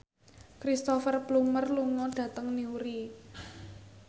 Cristhoper Plumer lunga dhateng Newry